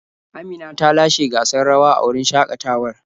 Amina ta lashe gasar rawa a wurin shakatawar.